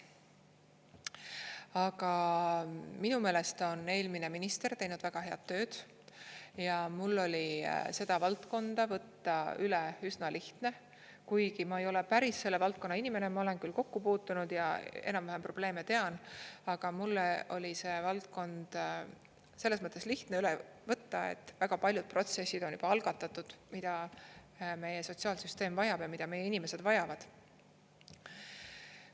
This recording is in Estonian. Aga minu meelest on eelmine minister teinud väga head tööd ja mul oli seda valdkonda võtta üle üsna lihtne, kuigi ma ei ole päris selle valdkonna inimene, ma olen küll kokku puutunud ja enam-vähem probleeme tean, aga mulle oli see valdkond selles mõttes lihtne üle võtta, et väga paljud protsessid on juba algatatud, mida meie sotsiaalsüsteem vajab ja mida meie inimesed vajavad.